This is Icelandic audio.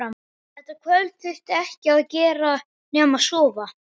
Þetta kvöld þurfti ekkert að gera nema sofa.